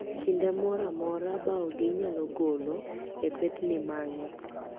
Kinde moroamora baogi inyalo golo e pedni mang'i